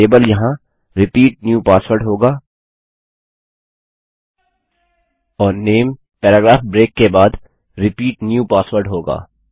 label यहाँ repeat new password होगा और नामे पैराग्राफ ब्रेक के बाद रिपीट न्यू पासवर्ड होगा